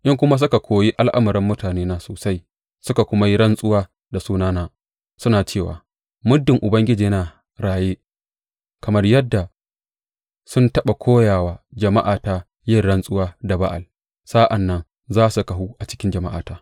In kuma suka koyi al’amuran mutanena sosai suka kuma yi rantsuwa da sunana, suna cewa, Muddin Ubangiji yana raye’ kamar yadda sun taɓa koya wa jama’ata yin rantsuwa da Ba’al, sa’an nan za su kahu a cikin jama’ata.